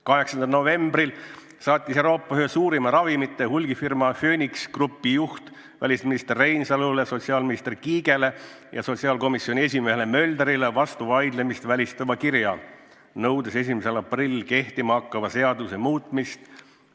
8. novembril saatis Euroopa ühe suurima ravimite hulgimüügi firma Phoenix Groupi juht välisminister Reinsalule, sotsiaalminister Kiigele ja sotsiaalkomisjoni esimehele Möldrile vastuvaidlemist välistava kirja, nõudes 1. aprillil kehtima hakkava seaduse muutmist.